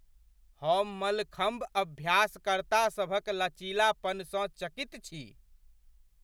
हम मलखम्ब अभ्यासकर्तासभक लचीलापनसँ चकित छी!